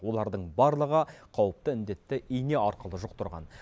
олардың барлығы қауіпті індетті ине арқылы жұқтырған